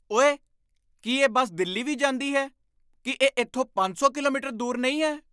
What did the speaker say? ਓਏ! ਕੀ ਇਹ ਬੱਸ ਦਿੱਲੀ ਵੀ ਜਾਂਦੀ ਹੈ? ਕੀ ਇਹ ਇੱਥੋਂ ਪੰਜ ਸੌ ਕਿਲੋਮੀਟਰ ਦੂਰ ਨਹੀਂ ਹੈ?